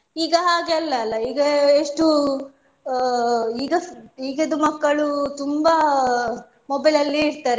ಈಗ ಹಾಗೆ ಅಲ್ಲ ಅಲ ಈಗ ಎಷ್ಟು ಅಹ್ ಈಗ ಎಷ್ಟು ಈಗದ್ದು ಮಕ್ಕಳು ತುಂಬಾ mobile ಅಲ್ಲೆ ಇರ್ತಾರೆ.